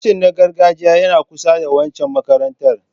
Kitchen na gargajiya yana kusa da waccan makarantar.